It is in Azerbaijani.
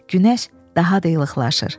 Günəş daha da ilıqlaşır.